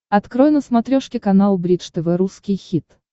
открой на смотрешке канал бридж тв русский хит